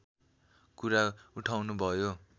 कुरा उठाउनुभयो